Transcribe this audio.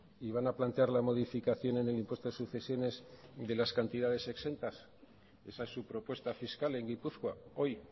y van a plantear la modificación en el impuesto de sucesiones de las cantidades exentas esa es su propuesta fiscal en gipuzkoa hoy